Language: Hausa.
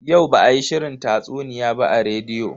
Yau ba a yi shirin tatsuniya ba a rediyo.